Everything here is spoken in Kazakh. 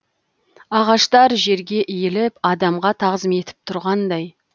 ағаштар жерге иіліп адамға тағзым етіп тұрғандай